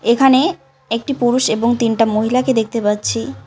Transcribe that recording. এখানে একটি পুরুষ এবং তিনটা মহিলাকে দেখতে পাচ্ছি।